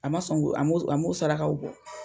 A ma sɔn k'o, a m'o sarakaw bɔ.